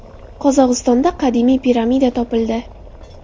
Qozog‘istonda qadimiy piramida topildi.